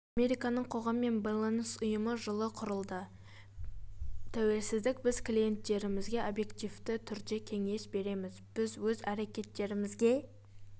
американың қоғаммен байланыс ұйымы жылы құрылды тәуелсіздік біз клиенттерімізге объективті түрде кеңес береміз біз өз әрекеттерімізге